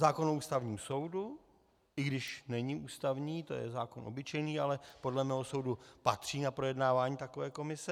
Zákon o Ústavním soudu, i když není ústavní, to je zákon obyčejný, ale podle mého soudu patří na projednávání takové komise.